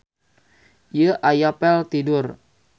Ieu aya pel tidur.